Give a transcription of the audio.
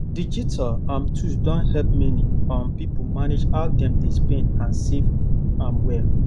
digital um tools don help many um people manage how dem dey spend and save um well